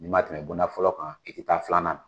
Ni ma tɛmɛ bonda fɔlɔ kan i taa filanan na.